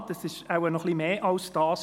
Ja, es ist wohl noch etwas mehr als das.